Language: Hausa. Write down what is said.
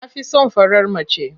Na fi son farar mace.